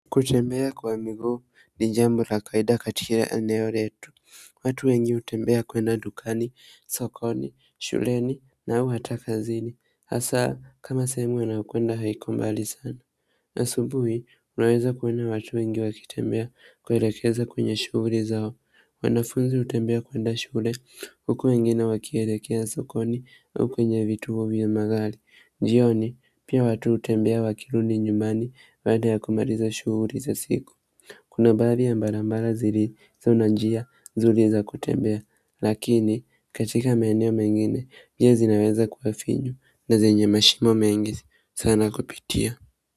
Kutembea kwa miguu ni jambo la kawaida katika eneo letu. Watu wengi hutembea kwenda dukani, sokoni, shuleni na au hata kazini hasa kama sehemu wanakoenda hakuko mbali sana. Na asubuhi unaweza kuwa na watu wengi wakitembea kuelekea kwenye shughuli zao. Wanafunzi hutembea kuenda shule, huku wengine wakielekea sokoni au kwenye vituo vya magari. Jioni, kuna baadhi ya barabara zilizonyooka nzuri za kutembea. Lakini katika maeneo mengine njia zinaweza kuwa finyu na zenye mashimo mengi sana kupitia.